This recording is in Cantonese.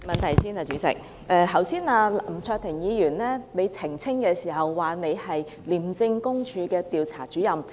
剛才林卓廷議員要求何議員澄清的時候說，他是廉政公署的調查主任。